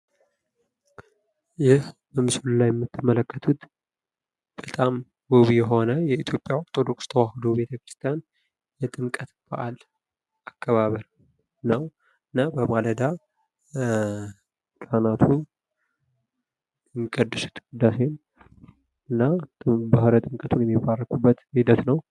ይህ በምስሉ ላይ የምትመለከቱት በጣም ውብ የሆነ የኢትዮጵያ ኦርቶዶክስ ተዋሕዶ ቤተክርስቲያን የጥምቀት በአል አከባበር ነው። እና በማለዳ ካህናቱ የሚቀድሱት ቅዳሴ እና ባህረ ጥምቀቱን የሚባርኩበት ሂደት ነው።